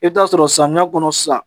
I bɛ taa sɔrɔ samiya kɔnɔ sisan